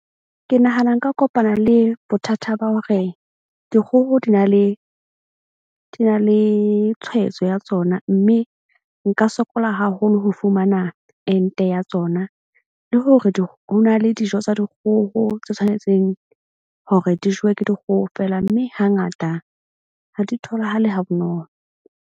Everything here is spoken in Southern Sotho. Ke nahana nka kopana le bothata ba hore dikgoho di na le tshwaetso ya tsona, mme nka sokola haholo ho fumana ente ya tsona. Le hore ho na le dijo tsa dikgoho tse tshwanetseng hore di jewe ke dikgoho feela. Mme hangata ha di tholahale ha bonolo.